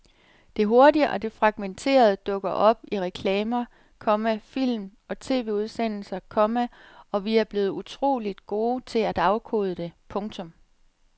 Det hurtige og det fragmenterede dukker op i reklamer, komma film og TVudsendelser, komma og vi er blevet utroligt gode til at afkode det. punktum